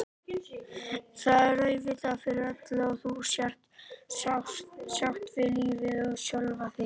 Það er auðvitað fyrir öllu að þú sért sátt við lífið og sjálfa þig.